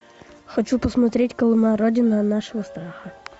хочу посмотреть колыма родина нашего страха